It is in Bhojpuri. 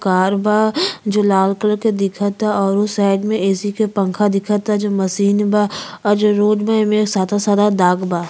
कार बा जो लाल कलर के दिखता और उ साइड में ऐ_सी के पंखा दिखता जो मशीन बा और जो रोड में एमें सादा-सादा दाग बा।